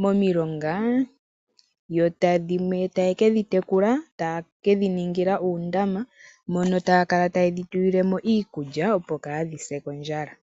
momilonga yo dhimwe taye ke dhi tekula, taye ke dhi ningila uundama mono taya kala taye dhi tulile mo iikulya, opo kaadhi se kondjala.